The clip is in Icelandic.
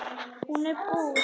Hún er bús.